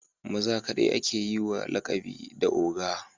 Maza kaɗai ake yi wa lakabi da oga